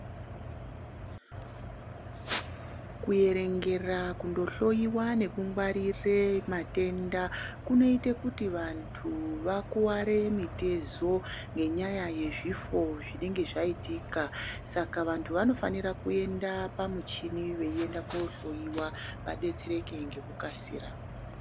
Kuerengera kundohloiwa nekungwarire matenda kunoite kuti vantu vakuware mitezo ngenyaya yezvifo zvinenge zvaitika saka vantu vanofanira kuenda pamuchini veienda kohloiwa vadetsereke ngekukasira.